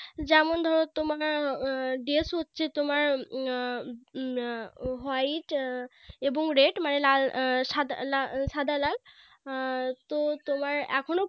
যেমন ধরো তোমার Dress হচ্ছে তোমার উম উম White এবং Red মানে লাল সাদা লাল সাদা লাল আর তো তোমার এখনো